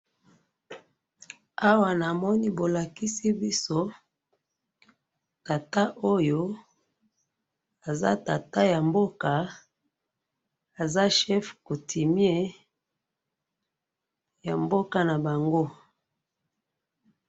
awa na moni bo lakisi biso tata oyo aza tata ya mboka aza chef coutimier ya mboka na bango